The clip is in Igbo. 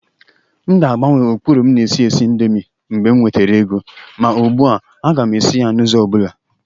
M ga-agbanwe ụkpụrụ m na-esi esi indomie mgbe m nwetara ego. Ma ugbu a, m ga-esi ya n'ụzọ ọ bụla.